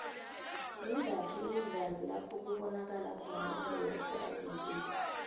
mingaki imidlalo lapho kubonakalo khona u beyonce alingisa